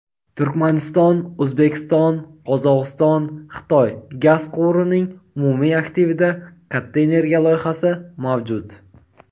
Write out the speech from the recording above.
"Turkmaniston–O‘zbekiston–Qozog‘iston–Xitoy" gaz quvurining umumiy aktivida katta energiya loyihasi mavjud.